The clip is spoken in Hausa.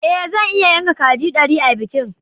Ée zan iya yanka kaji dari a bikin